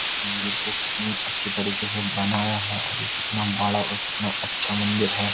इस मंदिर को कितनी अच्छी तरीके से बनाया है और ये कितना बड़ा और कितना अच्छा मंदिर है।